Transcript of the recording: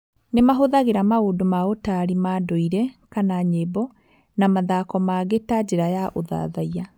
Nĩ mahũthagĩr maũndũ maũtarĩ ma ndũire (nyĩmbo) na mathako mangĩ ta njĩra cia ũthathaiya.